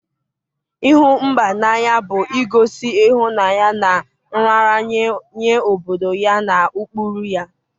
ịhụ mba n'anya bụ igosi ịhụnanya na nraranye nye obodo ya na ụkpụrụ ya.